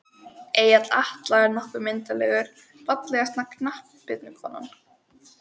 Egill Atla er nokkuð myndarlegur Fallegasta knattspyrnukonan?